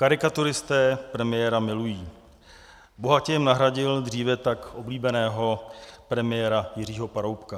Karikaturisté premiéra milují, bohatě jim nahradil dříve tak oblíbeného premiéra Jiřího Paroubka.